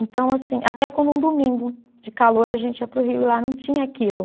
Então, assim, até quando um domingo de calor a gente ia para o rio e lá não tinha aquilo.